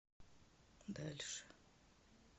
дальше